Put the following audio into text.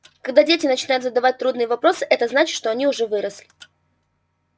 когда дети начинают задавать трудные вопросы это значит что они уже выросли